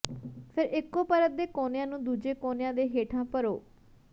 ਫਿਰ ਇਕੋ ਪਰਤ ਦੇ ਕੋਨਿਆਂ ਨੂੰ ਦੂਜੇ ਕੋਨਿਆਂ ਦੇ ਹੇਠਾਂ ਭਰੋ